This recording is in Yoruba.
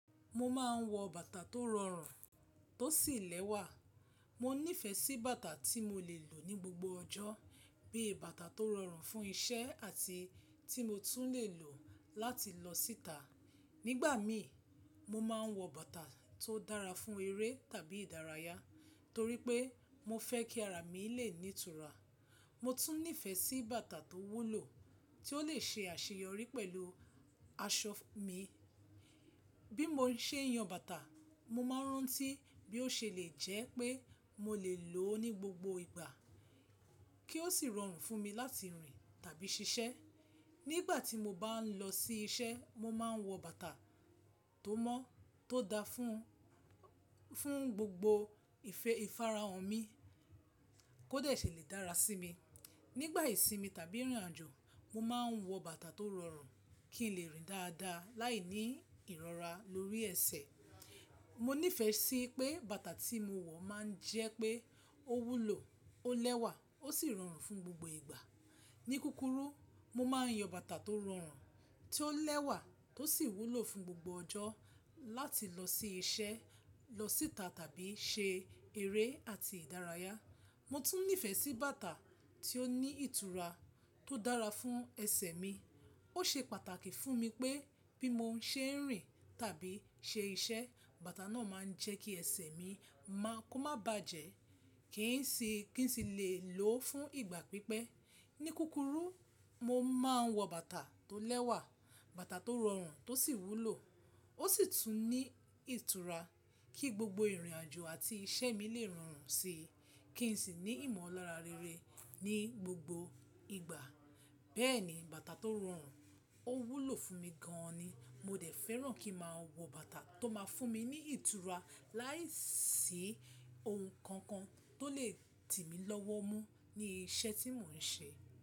Mo máa ń wọ bàtà tó rọrùn, tó sì lẹ́wà. Mo nífẹ̀ẹ́ sí bàtà tí mo lè lò ní gbogbo ọjọ́, bíi bàtà tó rọrùn fún iṣẹ́ àti tí mo tún lè lò láti lọ síta. Nígbà mi, mo máa ń wọ bàtà tó dára fún eré tàbí ìdárayá torí pé mo fẹ́ kí ara mi lè ní ìtura. Mo tún nífẹ̀ẹ́ sí bàtà tó wúlò tí ó lè ṣe àṣeyọrí pẹ̀lú aṣọ mi. Bí mo ṣe ń yan bàtà, mo máa ń rántí bí ó ṣe lè jẹ́ pé mo lè lò ó ní gbogbo ìgbà kí ó sì rọrùn fún mi láti rìn tàbí ṣiṣẹ́. Nígbà tí mo bá ń lọ sí iṣẹ́, mo máa ń wọ bàtà tó mọ́, tó da fún, fún gbogbo ìfe- ìfarahàn mi kó dà ṣì lè dára sí mi. Nígbà ìsinmi tàbí ìrìnàjò, mo máa ń wọ bàtà tó rọrùn kí n lè rìn dáadáa láì ní ìrọra lórí ẹsẹ̀. Mo nífẹ̀ẹ́ sí pé bàtà tí mo wọ̀ máa ń jẹ́ pé ó wúlò, ó lẹ́wà ó sì rọrùn fún gbogbo ìgbà. Ní kúrúkù, mo máa ń yan bàtà tó rọrùn, tí ó lẹ́wà tó sì wúlò fún gbogbo ọjọ́ láti lọ sí iṣẹ́, lọ síta tàbí ṣe eré àti ìdárayá. Mo tún nífẹ̀ẹ́ sí bàtà tí ó ní ìtura tó dára fún ẹsẹ̀ mi. Ó ṣe pàtàkì fún mi pé bí mo ṣe ń rìn tàbí ṣe iṣẹ́, bàtà náà máa ń jẹ́ kí ẹsẹ̀ mi má, kó má bàjẹ́ kí n sì, kí n sì lè lò ó fún ìgbà pípẹ́. Ní kúrúkù, mo máa ń wọ bàtà tó lẹ́wà, bàtà tó rọrùn tó sì wúlò. Ó sì tún ní ìtura kí gbogbo ìrìnàjò àti iṣẹ́ mi lè rọrùn síi kí n sì ní ìmọ̀lára rere ní gbogbo ìgbà. Bẹ́ẹ̀ ni, bàtà tó rọrùn ó wúlò fún mi gan-an ni. Mo dẹ̀ fẹ́ràn kí máa wọ bàtà tó máa fún mi ní ìtura láìsí ohun kankan tó lè dì mí lọ́wọ́ mú ní iṣẹ́ tí mò ń ṣe.